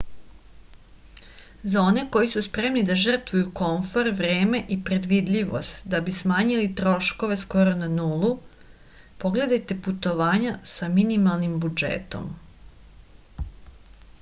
za one koji su spremni da žrtvuju komfor vreme i predvidljivost da bi smanjili troškove skoro na nulu pogledajte putovanja sa mimalnim budžetom